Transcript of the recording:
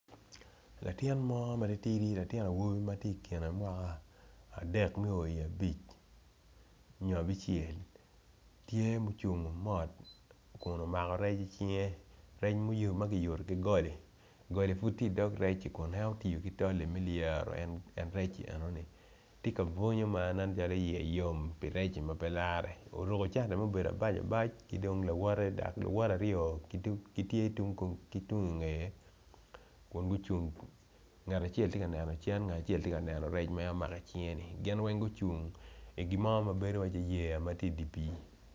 Latin mo matidi matye i kene mwaka adek me oo i abic onyo abicel tye ma ocungo mot kun omako rec icinge rec mp oyuto gigoli goli pwod tye idog recci me lyeto en rec enoni tye ka bunyo ma nen calo iye yom pi recci mapelare oruko cati ma abac abac kidong lawote dok luwote aryo gitye kitungge dok gucung ngat acel tye ka neno cen ngat acel tye ka neno rec ma en omako icinge ni. Gin weng gucung gibo ma bedo wai yea